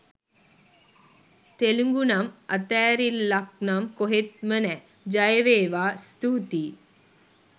තෙලිඟුනම් අතෑරිල්ලක්නම් කොහෙත්ම නෑ! ජයවේවා! ස්තූතියි!